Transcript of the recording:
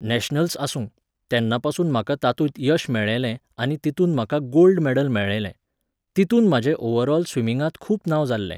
Nationals आसूं, तेन्नापासून म्हाका तातूंत यश मेळ्ळेंलें आनी तितून म्हाका गोल्ड मॅडल मेळ्ळेलें. तितून म्हाजें ओव्हरऑल स्विमिंगांत खूब नांव जाल्लें